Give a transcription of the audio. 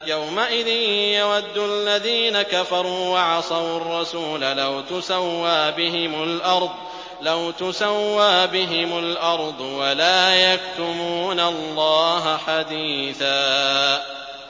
يَوْمَئِذٍ يَوَدُّ الَّذِينَ كَفَرُوا وَعَصَوُا الرَّسُولَ لَوْ تُسَوَّىٰ بِهِمُ الْأَرْضُ وَلَا يَكْتُمُونَ اللَّهَ حَدِيثًا